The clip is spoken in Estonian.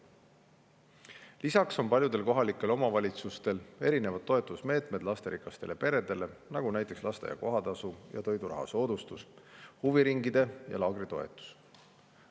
Lisaks on paljudel kohalikel omavalitsustel erinevad toetusmeetmed lasterikastele peredele, nagu näiteks lasteaia kohatasu ja toiduraha soodustus, huviringi- ja laagritoetus.